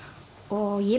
ég